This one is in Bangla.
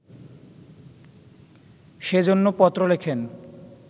সে জন্য পত্র লেখেন